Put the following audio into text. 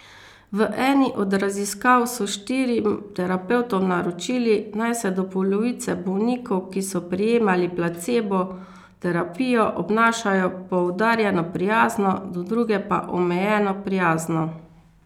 V eni od raziskav so štirim terapevtom naročili, naj se do polovice bolnikov, ki so prejemali placebo terapijo, obnašajo poudarjeno prijazno, do druge pa omejeno prijazno.